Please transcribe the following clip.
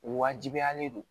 Wajibiyalen do